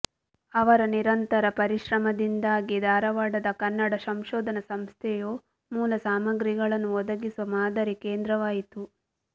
ಅವರ ನಿರಂತರ ಪರಿಶ್ರಮದಿಂದಾಗಿ ಧಾರವಾಡದ ಕನ್ನಡ ಸಂಶೋಧನ ಸಂಸ್ಥೆಯು ಮೂಲ ಸಾಮಗ್ರಿಗಳನ್ನು ಒದಗಿಸುವ ಮಾದರಿ ಕೇಂದ್ರವಾಯಿತು